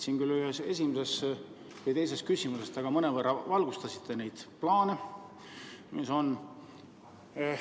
Ühele küsimusele vastates te mõnevõrra valgustasite neid plaane, mis on.